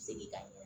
Segin ka